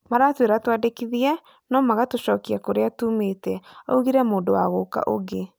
Maratũĩra twĩandikithie, no magatũcokia kũria tumĩte,"augire mũndũ wa gũka ungĩ